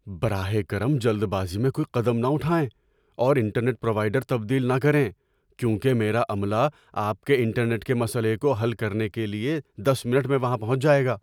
براہ کرم جلد بازی میں کوئی قدم نہ اٹھائیں اور انٹرنیٹ پروائیڈر تبدیل نہ کریں کیونکہ میرا عملہ آپ کے انٹرنیٹ کے مسئلے کو حل کرنے کے لیے دس منٹ میں وہاں پہنچ جائے گا۔